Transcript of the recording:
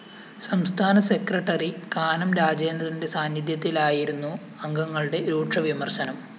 സംസ്ഥാന സെക്രട്ടറി കാനം രാജേന്ദ്രന്റെ സാന്നിദ്ധ്യത്തിലായിരുന്നു അംഗങ്ങളുടെ രൂക്ഷവിമര്‍ശനം